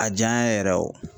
A jaya yɛrɛ